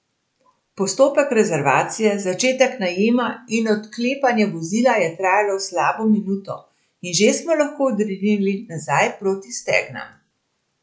Postopek rezervacije, začetka najema in odklepanja vozila je trajal slabo minuto in že smo lahko odrinili nazaj proti Stegnam.